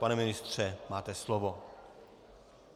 Pane ministře, máte slovo.